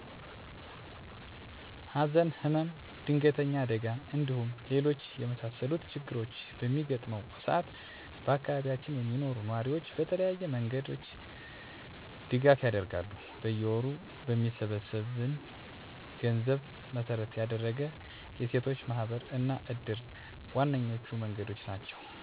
ሀዘን፣ ህመም፣ ድንገተኛ አደጋ እንዲሁም ሌሎች የመሳሰሉት ችግሮች በሚገጥመው ሰአት በአካባቢያችን የሚኖሩ ነዋሪዎች በተለያዩ መንገዶች ድጋፍ ያደርጋሉ። በየወሩ በሚሰበሰብን ገንዘብ መሰረት ያደረገ የሴቶች ማህበር እና እድር ዋነኞቹ መንገዶች ናቸው። በመሆኑም ከተሰበሰበው ገንዘብ ላይ ቀድሞ የተወሰነ መጠን ለተጎጂዎች ይበረክታል።